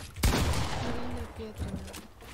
ирина петрина